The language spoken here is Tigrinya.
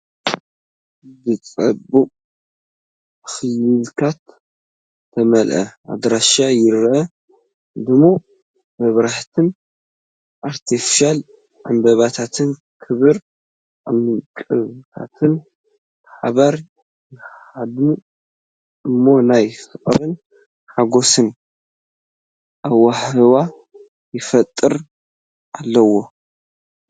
ብጽባቐን ኣኽሊላትን ዝተመልአ ኣዳራሽ ይረአ፤ ድሙቕ መብራህትን ኣርቴፊሻል ዕምባባታትን ክቡር ዕንቊታትን ብሓባር ይወሃሃዱ እሞ ናይ ፍቕርን ሓጐስን ሃዋህው ይፈጥሩ ኣለው።